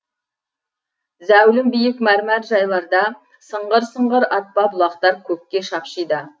зәулім биік мәрмәр жайларда сыңғыр сыңғыр атпа бұлақтар көкке шапшиды